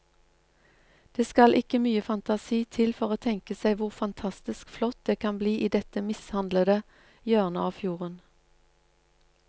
Det skal ikke mye fantasi til for å tenke seg hvor fantastisk flott det kan bli i dette mishandlede hjørnet av fjorden.